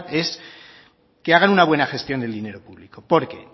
es que hagan una buena gestión del dinero público porque